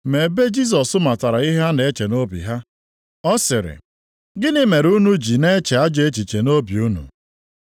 Ma ebe Jisọs matara ihe ha na-eche nʼobi ha, ọ sịrị, “Gịnị mere unu ji na-eche ajọ echiche nʼobi unu?